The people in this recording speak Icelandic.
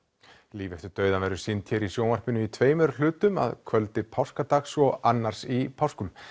líf eftir dauðann verður sýnd hér í sjónvarpinu í tveimur hlutum að kvöldi páskadags og annars í páskum